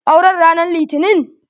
Aure n ranan litinin?